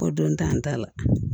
Ko don t'an ta la